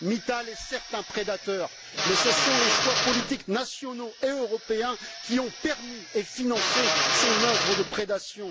Mittal est certes un prédateur, mais ce sont les choix politiques nationaux et européens qui ont permis et financé son œuvre de prédation.